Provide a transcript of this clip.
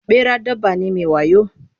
Ɓera dabba ne mai wayo.